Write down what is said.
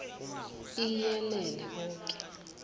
iii iyelele boke